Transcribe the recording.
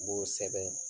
N b'o sɛbɛn